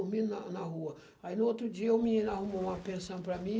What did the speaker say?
Aí no outro dia o menino arrumou uma pensão para mim.